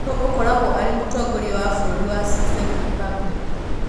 Nũũ ũkoragwo arĩ Mũtongoria wa bũrũri wa Czech Republic?